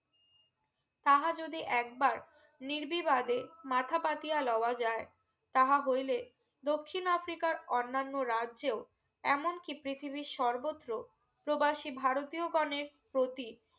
তাঁহা যদি একবার নির্বিবাদে মাথা পাতিয়া লওয়া যায় তাঁহা হইলে দক্ষিন আফ্রিকার অন্যান্য রাজ্যেও এমন কি পৃথীবির সর্বত্র প্রবাশী ভারতীয় গনে প্রতি